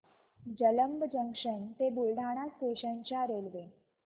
Jalamb junction ते Buldhana station च्या railway